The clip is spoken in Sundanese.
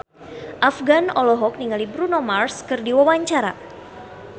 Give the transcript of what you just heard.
Afgan olohok ningali Bruno Mars keur diwawancara